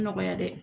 Nɔgɔya dɛ